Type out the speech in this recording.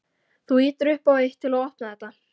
Þú ýtir upp á eitt. til að opna þetta.